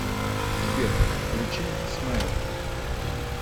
сбер включи смейл